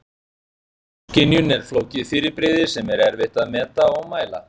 Sjónskynjun er flókið fyrirbrigði sem er erfitt að meta og mæla.